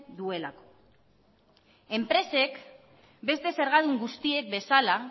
duelako enpresek beste zergadun guztiek bezala